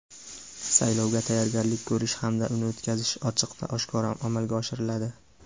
Saylovga tayyorgarlik ko‘rish hamda uni o‘tkazish ochiq va oshkora amalga oshiriladi.